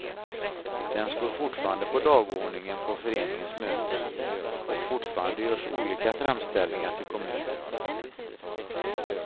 Den står fortfarande på dagordningen på föreningens möten, och fortfarande görs olika framställningar till kommunen.